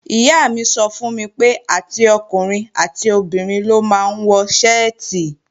Ìyá mi sọ fún mi pé, àti ọkùnrin àti obìnrin ló máa ń wọ ṣẹ́ẹ̀tì